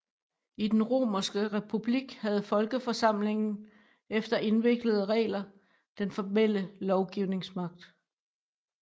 I den romerske republik havde folkeforsamlingen efter indviklede regler den formelle lovgivningsmagt